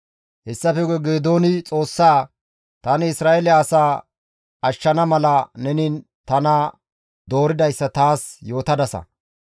Hessafe guye Geedooni Xoossaa, «Tani Isra7eele asaa ashshana mala neni tana dooridayssa taas yootadasa.